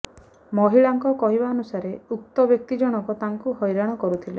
ମହିଳାଙ୍କ କହିବାନୁସାରେ ଉକ୍ତ ବ୍ୟକ୍ତି ଜଣକ ତାଙ୍କୁ ହଇରାଣ କରୁଥିଲେ